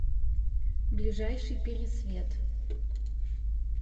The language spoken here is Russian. ближайший пересвет